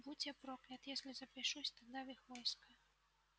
будь я проклят если запишусь тогда в их войско